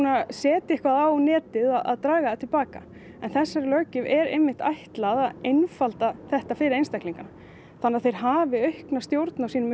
setur eitthvað á netið að draga það til baka þessari löggjöf er ætlað að einfalda þetta fyrir eintaklingana þannig þeir hafi aukna stjórn á sínum